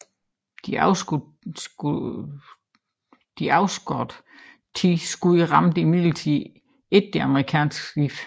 De afskudte ti skud ramte imidlertid ikke det amerikanske skib